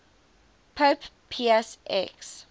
pope pius x